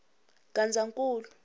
gazankulu